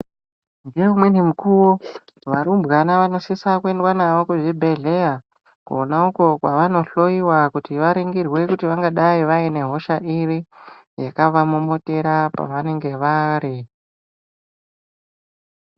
Ngekumweni mukuwo varumbwana vanosiswa kuendwa navo kuzvibhedhleya kwona uko kwavano hloyiwa kuti varingirwe kuti vangadai vane hosha iri yakavamomotera pavanenge vari.